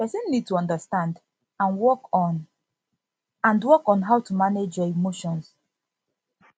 person need to understand and work on and work on how to manage your emotion